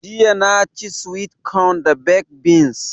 Jiya na ci (swit kon) da baked beans